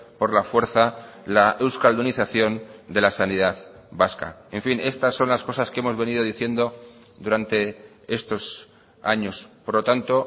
por la fuerza la euskaldunización de la sanidad vasca en fin estas son las cosas que hemos venido diciendo durante estos años por lo tanto